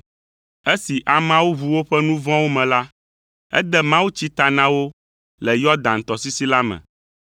Esi ameawo ʋu woƒe nu vɔ̃wo me la, ede mawutsi ta na wo le Yɔdan tɔsisi la me.